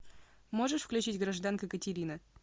можешь включить гражданка катерина